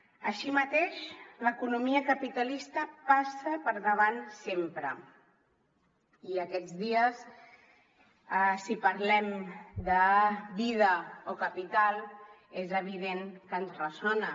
així mateix l’economia capitalista passa per davant sempre i aquests dies si parlem de vida o capital és evident que ens ressona